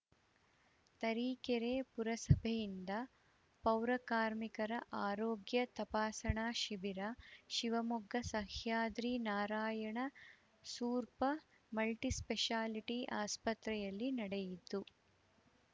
ತರೀಕೆರೆ ಪುರಸಭೆಯಿಂದ ಪೌರಕಾರ್ಮಿಕರ ಆರೋಗ್ಯ ತಪಾಸಣಾ ಶಿಬಿರ ಶಿವಮೊಗ್ಗ ಸಹ್ಯಾದ್ರಿ ನಾರಾಯಣ ಸೂಪರ್‌ ಮಲ್ಟಿಸ್ಪೆಶಾಲಿಟಿ ಆಸ್ಪತ್ರೆಯಲ್ಲಿ ನಡೆಯಿತು